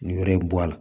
Ni yɔrɔ bɔ a la